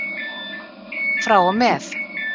Frá og með.